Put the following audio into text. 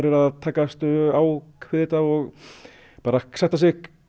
að takast á við þetta og sætta sig